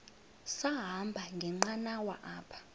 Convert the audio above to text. sahamba ngenqanawa apha